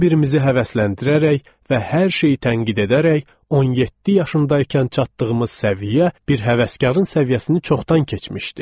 Bir-birimizi həvəsləndirərək və hər şeyi tənqid edərək 17 yaşındaykən çatdığımız səviyyə bir həvəskarın səviyyəsini çoxdan keçmişdi.